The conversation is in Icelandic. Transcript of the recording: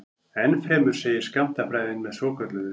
Ennfremur segir skammtafræðin með svokölluðu